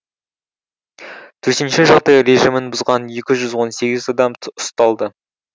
төтенше жағдай режимін бұзған екі жүз он сегіз адам ұсталды